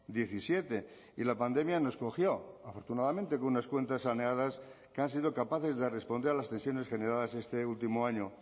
diecisiete y la pandemia nos cogió afortunadamente con unas cuentas saneadas que han sido capaces de responder a las tensiones generadas este último año